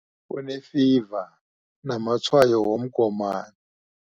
Unefiva namatshwayo womgomani.